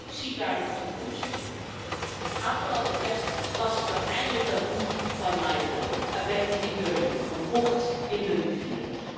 Wie ziet daar nog toekomst in? Afgelopen kerst las ik eindelijk dat boek van Naipaul, A bend in the river, een bocht in de rivier.